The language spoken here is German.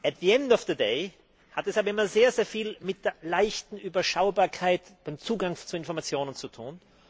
At the end of the day hat es aber immer sehr viel mit der leichten Überschaubarkeit und dem Zugang zu Informationen zu tun.